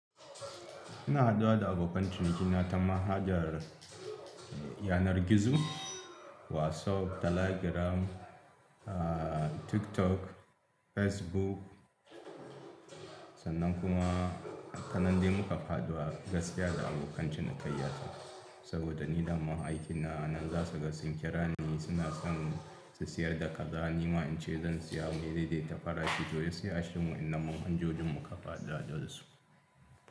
Ina haduwa da abokan cinikina ta manhajar yanar gizo WhatsApp, Telegram, ah TikTok, Facebook sannan kuma kan nan dai muka faɗa gaskiya da abokan cinikayya ta. Saboda ni da ma aikina na anan za kaga, suna son su sayar da kaza, ni ma in ce zan saya mu dai dai ta farashinto gaskiya acikin wannan man hajojin muka fara haduwa dasu.